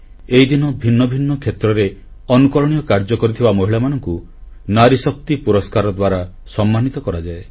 ଏହିଦିନ ଭିନ୍ନ ଭିନ୍ନ କ୍ଷେତ୍ରରେ ଅନୁକରଣୀୟ କାର୍ଯ୍ୟ କରିଥିବା ମହିଳାମାନଙ୍କୁ ନାରୀଶକ୍ତି ପୁରସ୍କାର ଦ୍ୱାରା ସମ୍ମାନିତ କରାଯାଏ